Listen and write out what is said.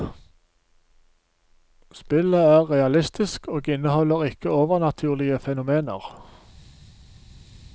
Spillet er realistisk, og inneholder ikke overnaturlige fenomener.